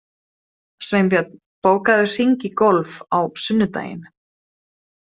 Sveinbjörn, bókaðu hring í golf á sunnudaginn.